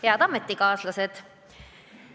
Head ametikaaslased!